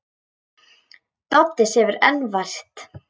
Doddi sefur enn vært.